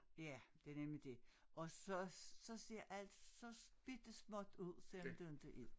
Ja det nemlig dét og så så ser alt så bittesmåt ud selvom det inte er